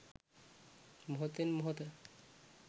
මොහොතෙන් මොහොත